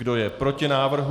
Kdo je proti návrhu?